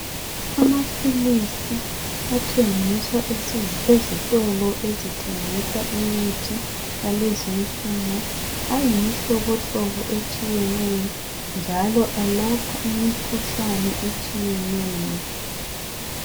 Amaphilisi athengiswa ezitolo ezithengisa imithi yakezinsuku ayimihlobohlobo etshiyeneyo njalo alaoha imikhuhlane etshiyeneyo.